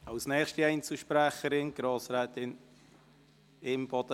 Als nächste Einzelsprecherin: Grossrätin Imboden.